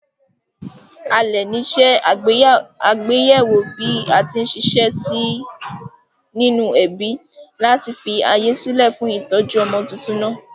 Alè ní se àgbéyéwò bí atí n siṣẹ́ sí nínú ẹbí láti fi ààyè sílè fún ìtójú ọmọ tuntun nàá